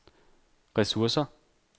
ressourcer